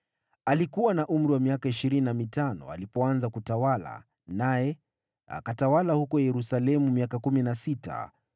Alikuwa na umri wa miaka ishirini na mitano alipoanza kutawala, naye akatawala huko Yerusalemu miaka kumi na sita.